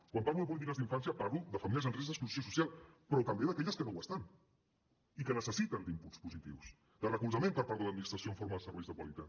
quan parlo de polítiques d’infància parlo de famílies en risc d’exclusió social però també d’aquelles que no ho estan i que necessiten inputs positius recolzament per part de l’administració en forma de serveis de qualitat